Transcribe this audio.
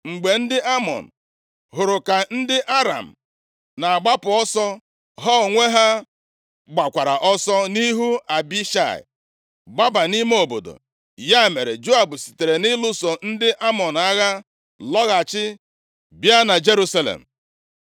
Mgbe ndị Amọn hụrụ ka ndị Aram na-agbapụ ọsọ, ha onwe ha gbakwara ọsọ nʼihu Abishai, gbaba nʼime obodo. Ya mere, Joab sitere nʼịlụso ndị Amọn agha lọghachi, bịa na Jerusalem.